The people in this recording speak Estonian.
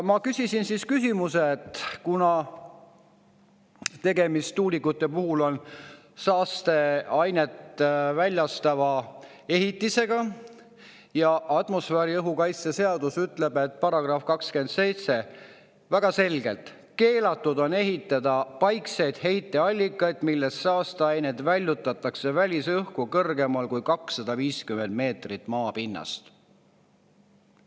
Ma oma küsimuses, et tuulikute puhul on tegemist saasteainet väljutava ehitisega ja atmosfääriõhu kaitse seaduse § 27 ütleb väga selgelt: "Keelatud on ehitada paikseid heiteallikaid, millest saasteained väljutatakse välisõhku kõrgemal kui 250 meetrit maapinnast.